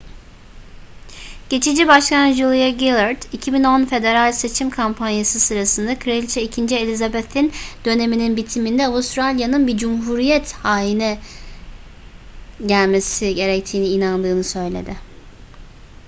geçici başbakan julia gillard 2010 federal seçim kampanyası sırasında kraliçe 2. elizabeth'in döneminin bitiminde avustralya'nın bir cumhuriyet haine gelmesi gerektiğine inandığını söyledi